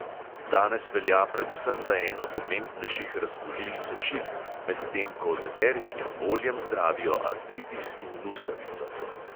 Danes velja predvsem za eno pomembnejših razkužil sečil, medtem ko z eteričnim oljem zdravijo artritis in luskavico.